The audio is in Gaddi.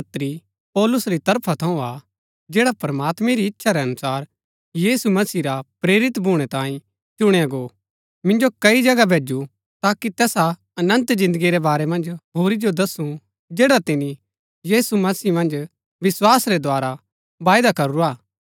ऐह पत्री पौलुस री तरफा थऊँ हा जैड़ा प्रमात्मैं री इच्छा रै अनुसार यीशु मसीह रा प्रेरित भूणै तांयै चुणया गो मिन्जो कई जगह भैजु ताकि तैसा अनन्त जिन्दगी रै बारै मन्ज होरी जो दसु जैड़ा तिनी यीशु मसीह मन्ज विस्वास रै द्धारा वायदा करूरा हा